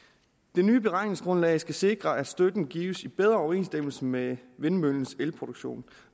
det nye beregningsgrundlag skal sikre at støtten gives i bedre overensstemmelse med vindmøllens elproduktion